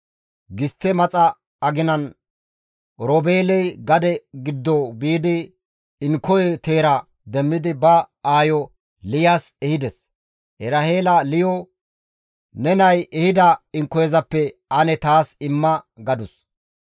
Gistte maxa aginan Oroobeeley gade giddo biidi inkoye teera demmidi ba aayo Liyas ehides; Eraheela Liya, «Ne nay ehida inkoyezappe ane taas imma» gadus.